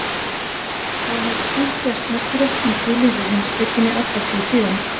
Þá hefur tvennt gerst merkilegt sem tilheyrir heimspekinni alla tíð síðan.